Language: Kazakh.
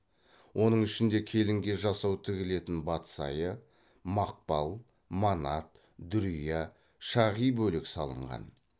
оның ішінде келінге жасау тігілетін батсайы мақпал манат дүрия шағи бөлек салынған